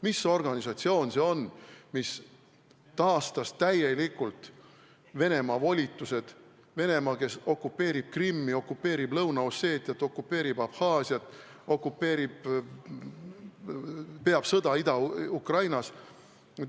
Mis organisatsioon see on, kes taastas täielikult Venemaa volitused – Venemaa, kes okupeerib Krimmi, okupeerib Lõuna-Osseetiat, okupeerib Abhaasiat, okupeerib, peab sõda Ida-Ukrainas?